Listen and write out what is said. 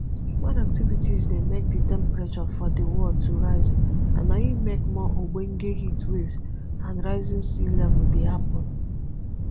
human activities dey make di temperature for di world to rise and na im make more ogbonge heatwaves and rising sealevels dey happun